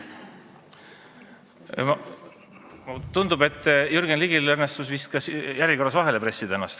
Tundub, et Jürgen Ligil õnnestus vist ennast järjekorras vahele pressida.